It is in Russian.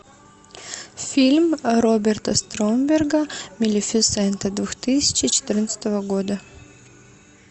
фильм роберта стромберга малефисента две тысячи четырнадцатого года